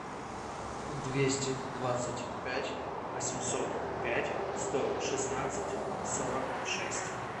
двести двадцать пять восемьсот пять сто шестнадцать сорок шесть